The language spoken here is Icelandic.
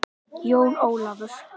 Jón Ólafur!